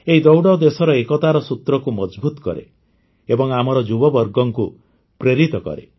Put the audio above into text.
ଏହି ଦୌଡ଼ ଦେଶର ଏକତାର ସୂତ୍ରକୁ ମଜଭୁତ କରେ ଏବଂ ଆମର ଯୁବବର୍ଗକୁ ପ୍ରେରିତ କରେ